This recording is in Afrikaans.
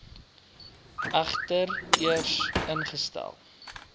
egter eers ingestel